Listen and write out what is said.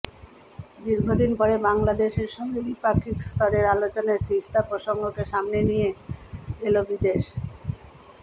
দীর্ঘদিন পরে বাংলাদেশের সঙ্গে দ্বিপাক্ষিক স্তরের আলোচনায় তিস্তা প্রসঙ্গকে সামনে নিয়ে এলো বিদেশ